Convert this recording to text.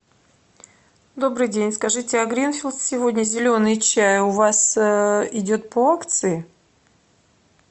добрый день скажите а гринфилд сегодня зеленый чай у вас идет по акции